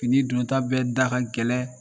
Fini dɔn ta bɛ da ka gɛlɛn